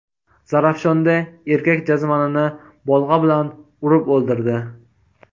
Zarafshonda erkak jazmanini bolg‘a bilan urib o‘ldirdi.